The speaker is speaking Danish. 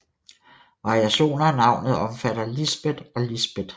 Variationer af navnet omfatter Lisbet og Lisbett